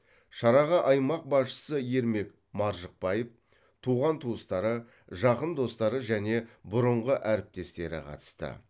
шараға аймақ басшысы ермек маржықпаев туған туыстары жақын достары және бұрынғы әріптестері қатысты